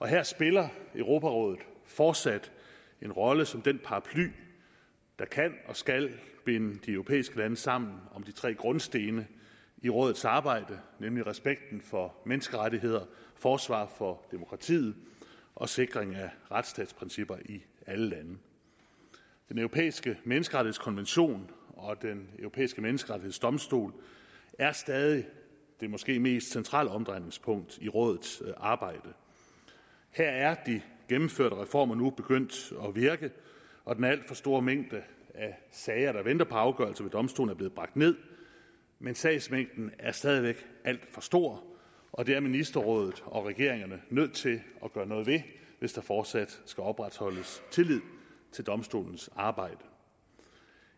her spiller europarådet fortsat en rolle som den paraply der kan og skal binde de europæiske lande sammen om de tre grundstene i rådets arbejde nemlig respekten for menneskerettigheder forsvar for demokratiet og sikring af retsstatsprincipper i alle lande den europæiske menneskerettighedskonvention og den europæiske menneskerettighedsdomstol er stadig det måske mest centrale omdrejningspunkt i rådets arbejde her er de gennemførte reformer nu begyndt at virke og den alt for store mængde af sager der venter på afgørelser ved domstolen er blevet bragt ned men sagsmængden er stadig væk alt for stor og det er ministerrådet og regeringerne nødt til at gøre noget ved hvis der fortsat skal opretholdes tillid til domstolens arbejde